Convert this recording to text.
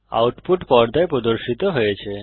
output পর্দায় প্রদর্শিত হয়েছে